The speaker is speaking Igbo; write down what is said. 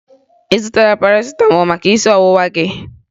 Ị zụtara Parasịtamọọlụ maka isi ọwụwa gị?